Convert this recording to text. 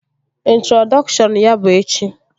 Introdọkshọn ya bụ echi